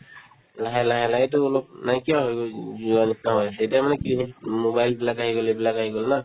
লাহে লাহে লাহে এইটো অলপ নাইকিয়া হৈ গৈ যোৱাৰ নিচিনা হৈ আছে এতিয়া মানে কি mobile বিলাক আহি গ'ল এইবিলাক আহি গ'ল না